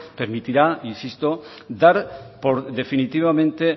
permitirá insisto dar por definitivamente